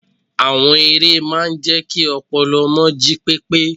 Àwọn eré máa ń jẹ́ kí ọpọlọ ọmọ jí pépé.